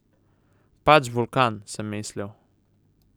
Pač vulkan, sem si mislil.